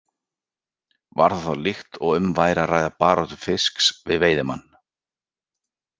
Var það þá líkt og um væri að ræða baráttu fisks við veiðimann.